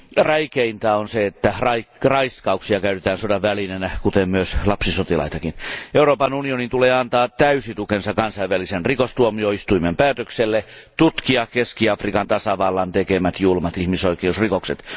Räikeintä on se, että raiskauksia käytetään sodan välineenä, kuten myös lapsisotilaitakin. Euroopan unionin tulee antaa täysi tukensa Kansainvälisen rikostuomioistuimen päätökselle tutkia Keski Afrikan tasavallan tekemät julmat ihmisoikeusrikokset.